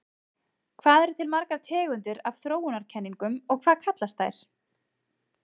Hvað eru til margar tegundir af þróunarkenningum og hvað kallast þær?